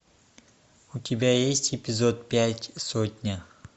у тебя есть эпизод пять сотня